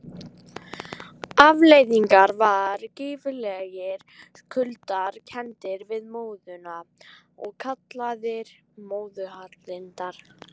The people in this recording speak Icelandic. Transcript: Afleiðingin var gífurlegir kuldar, kenndir við móðuna og kallaðir móðuharðindi.